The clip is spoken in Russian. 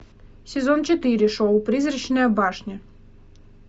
сезон четыре шоу призрачная башня